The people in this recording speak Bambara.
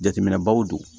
Jateminɛbaw don